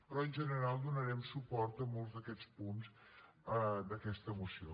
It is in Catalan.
però en general donarem suport a molts d’aquests punts d’aquesta moció